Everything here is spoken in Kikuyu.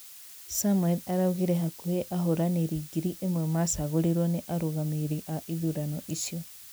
Samuel araugire hakuhĩ ahũranĩri ngiri ĩmwe macagũrĩrwo nĩ arũgamĩrĩri a ithurano icio